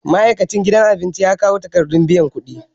Ma'aikacin gidan abinci ya kawo takardar biyan kuɗi